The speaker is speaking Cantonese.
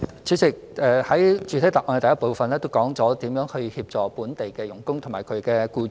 主席，我在主體答覆第一部分亦已說明，如何協助在港外傭及其僱主。